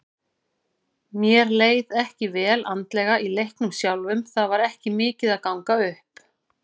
Mér leið ekki vel andlega í leiknum sjálfum, það var ekki mikið að ganga upp.